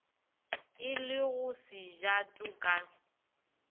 e le go sejato ka